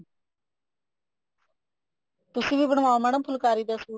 ਤੁਸੀਂ ਵੀ ਬਣਵਾ ਓ madam ਫੁਲਕਾਰੀ ਦਾ ਸੂਟ